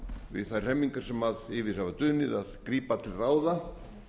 við þær hremmingar sem yfir hafa dunið að grípa til ráða